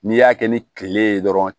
N'i y'a kɛ ni kile ye dɔrɔn